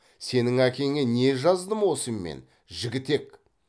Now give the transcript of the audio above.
сенің әкеңе не жаздым осы мен жігітек